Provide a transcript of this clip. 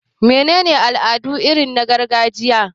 Mene ne al'adu irin na gargajiya?